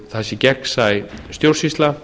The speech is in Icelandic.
það sé gegnsæ stjórnsýsla